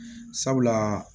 Sabula